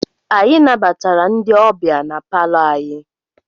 Anyị nabatara ndị ọbịa na palọ anyị.